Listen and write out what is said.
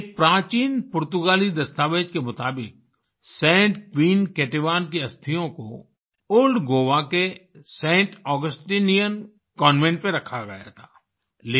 एक प्राचीन पुर्तगाली दस्तावेज के मुताबिक सैंट क्वीन केतेवन की अस्थियों को ओल्ड जीओए के सैंट ऑगस्टाइन कन्वेंट में रखा गया था